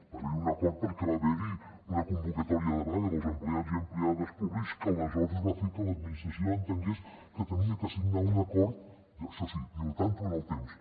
va haverhi un acord perquè va haverhi una convocatòria de vaga dels empleats i empleades públics que aleshores va fer que l’administració entengués que havia de signar un acord això sí diu al tanto amb el temps